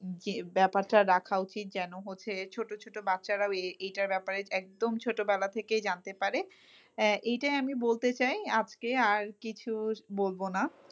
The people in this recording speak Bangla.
জি ব্যাপারটা রাখা উচিত যেন হচ্ছে ছোট ছোট বাচ্চারা এ~এ~এইটার ব্যাপারে একদম ছোটবেলা থেকেই জানতে পারে আহ এইটা আমি বলতে চাই। আজকে আর কিছু বলবো না,